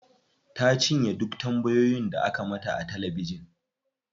Ta cinye duk tambayoyin da aka mata a talabijin.